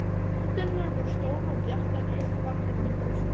Myndirnar voru stórar og bjartar, risavaxin póstkort.